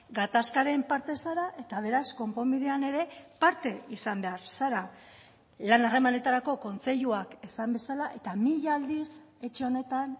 gatazkaren parte zara eta beraz konponbidean ere parte izan behar zara lan harremanetarako kontseiluak esan bezala eta mila aldiz etxe honetan